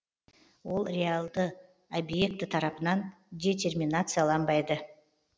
ол реалды объекті тарапынан детерминацияланбайды